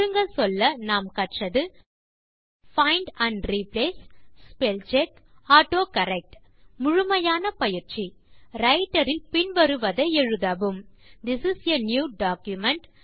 சுருங்க சொல்ல நாம் கற்றது find and replace spell check autocorrect முழுமையான பயிற்சி ரைட்டர் இல் பின் வருவதை எழுதவும் this is a new document